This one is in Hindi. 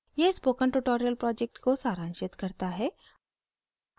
यह spoken tutorial project को सारांशित करता है